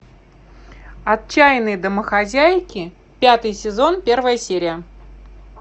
отчаянные домохозяйки пятый сезон первая серия